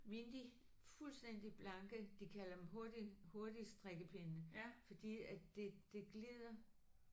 Mine de fuldstændig blanke. De kalder dem hurtig hurtigstrikkepinde fordi at det det glider